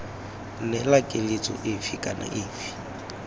neela keletso efe kana efe